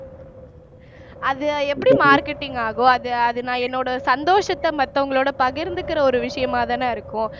அது எப்படி marketing ஆகும் அது அது நான் என்னோட சந்தோஷத்தை மத்தவங்களோட பகிர்ந்துக்கிற ஒரு விஷயமாதானே இருக்கும் அத எப்படி நீங்க